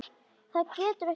Það getur ekki beðið.